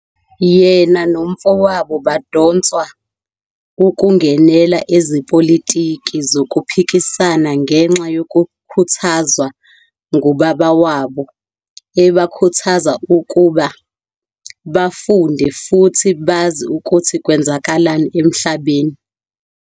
Yena no mfowabo badonswa ukungenela ezepolitiki zokuphikisana ngenxa yokukhuthazwa ngubaba wabo ebakhuthaza ukuba "bafunde futhi bazi ukuthi kwenzekani emhlabeni".